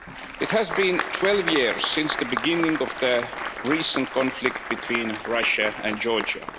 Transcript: It has been 12 years since the beginning of the recent conflict between Russia and Georgia.